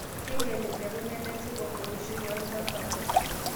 Keing'iel mpekun nemesipa oishoi oo lchambai